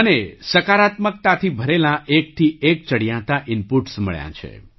મને સકારાત્મકતાથી ભરેલાં એકથી એક ચડિયાતાં ઇનપૂટ્સ મળ્યાં છે